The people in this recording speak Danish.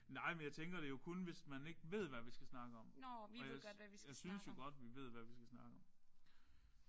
Nej men jeg tænker det jo kun hvis man ikke ved hvad vi skal snakke om. Og jeg synes jo godt vi ved hvad vi skal snakke om